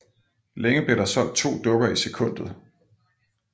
Længe blev der solgt to dukker i sekundet